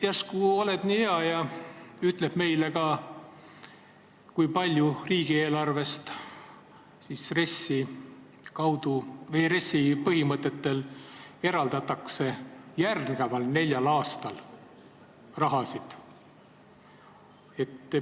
Järsku oled nii hea ja ütled meile ka, kui palju riigieelarvest RES-i kaudu või RES-i põhimõtetel järgneval neljal aastal raha eraldatakse.